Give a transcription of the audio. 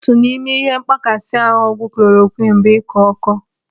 Otu n'ime ihe mkpakasị ahụ ọgwụ kolorokwiini bụ ịkọ ọkọ.